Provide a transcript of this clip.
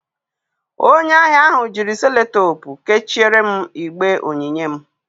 Onye ahịa ahụ jiri Sellotepụ kechiere m igbe onyinye m